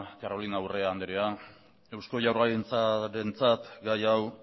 carolina urrea andrea eusko jaurlaritzarentzat gai hau